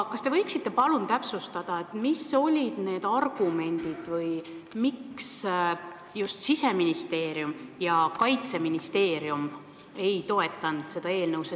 Kas te võiksite palun täpsustada, mis olid need argumendid, miks just Siseministeerium ja Kaitseministeerium ei toetanud seda eelnõu?